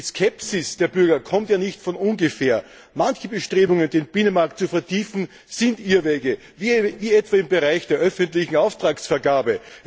Die Skepsis der Bürger kommt ja nicht von ungefähr Manche Bestrebungen, den Binnenmarkt zu vertiefen, sind Irrwege wie etwa im Bereich der öffentlichen Auftragsvergabe.